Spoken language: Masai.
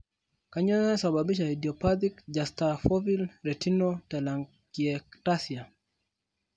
Kanyioo naisababisha idiopathic juxtafoveal retinal telangiectasia?